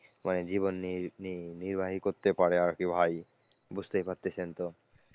জীবন নি নির্বাহী করতে পারে আর কি ভাই, বুঝতেই পারতেছেন তো,